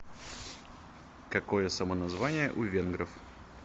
какое самоназвание у венгров